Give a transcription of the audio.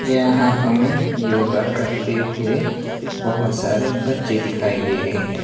यहां हमें योगा करते हुए बहोत सारे बच्चे दिखाई दे रहे है।